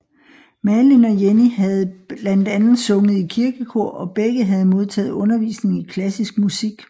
Malin og Jenny havde blandt andet sunget i kirkekor og begge havde modtaget undervisning i klassisk musik